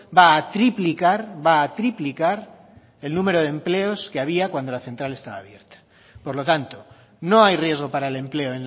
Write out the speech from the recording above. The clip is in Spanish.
va a triplicar va a triplicar el número de empleos que había cuando la central estaba abierta por lo tanto no hay riesgo para el empleo